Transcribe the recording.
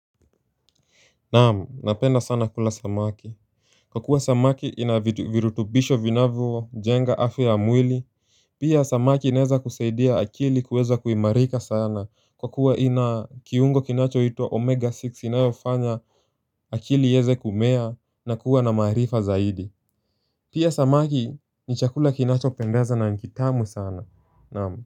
Naam napenda sana kula samaki Kwa kuwa samaki inavirutubisho vinavyojenga afya ya mwili Pia samaki inaweza kusaidia akili kuweza kuimarika sana kwa kuwa ina kiungo kinacho itwa omega six inayofanya akili iweze kumea na kuwa na maarifa zaidi Pia samaki ni chakula kinacho pendeza na nikiitamu sana naam.